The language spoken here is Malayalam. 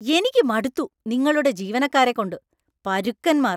എനിക്ക് മടുത്തു നിങ്ങളുടെ ജീവനക്കാരെ കൊണ്ട്. പരുക്കന്മാര്‍.